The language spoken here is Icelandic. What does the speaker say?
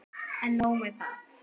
En nóg með það.